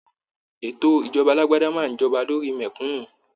Ètò ìjọba alágbádá máa n jọba lórí mẹkúnnù.